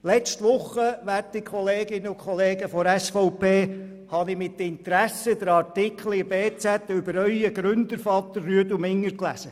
Letzte Woche, liebe Kolleginnen und Kollegen von der SVP, habe ich mit Interesse den Artikel in der «Berner Zeitung» über Ihren Gründervater «Rüedu» Minger gelesen.